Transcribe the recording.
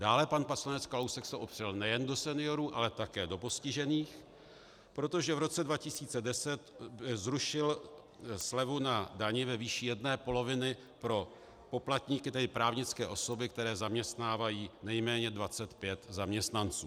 Dále pan poslanec Kalousek se opřel nejen do seniorů, ale také do postižených, protože v roce 2010 zrušil slevu na dani ve výši jedné poloviny pro poplatníky, tedy právnické osoby, které zaměstnávají nejméně 25 zaměstnanců.